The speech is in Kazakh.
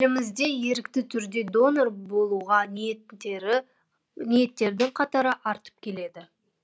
елімізде ерікті түрде донор болуға ниеттердің қатары артып келеді